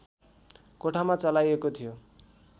कोठामा चलाइएको थियो